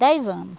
Dez anos.